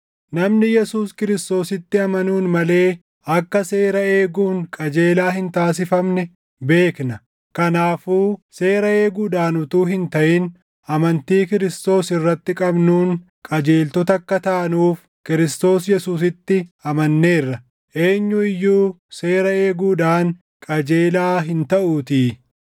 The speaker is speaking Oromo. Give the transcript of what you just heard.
namni Yesuus Kiristoositti amanuun malee akka seera eeguun qajeelaa hin taasifamne beekna. Kanaafuu seera eeguudhaan utuu hin taʼin amantii Kiristoos irratti qabnuun qajeeltota akka taanuuf Kiristoos Yesuusitti amanneerra; eenyu iyyuu seera eeguudhaan qajeelaa hin taʼuutii.